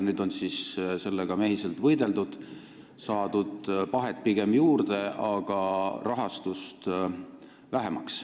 Nendega on nüüd mehiselt võideldud: pahet on pigem juurde saadud, rahastus on aga vähenenud.